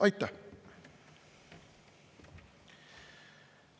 Aitäh!